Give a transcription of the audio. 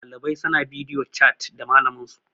ɗalibai suna bidiyo chat da malaminsu